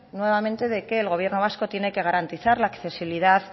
nuevamente de que el gobierno vasco tiene que garantizar la accesibilidad